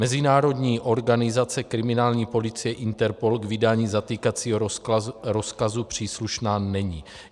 Mezinárodní organizace kriminální policie Interpol k vydání zatýkacího rozkazu příslušná není.